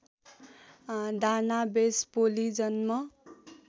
Dana Vespoli जन्म